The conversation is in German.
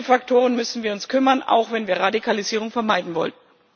Um diese Faktoren müssen wir uns kümmern, auch wenn wir Radikalisierung vermeiden wollen.